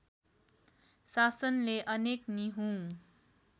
शासनले अनेक निहुँ